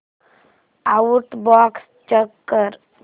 outbox check कर